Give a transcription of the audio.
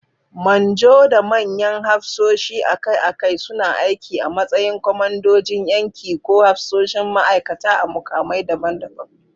Manjo da manyan hafsoshi akai-akai suna aiki a matsayin kwamandojin yanki ko hafsoshin ma'aikata a mukamai daban-daban.